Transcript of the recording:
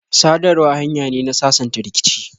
sadarwa hanya ne na sasanta rikici.